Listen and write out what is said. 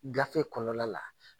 Gafe kɔnɔna la